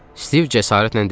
Stiv cəsarətlə dedi.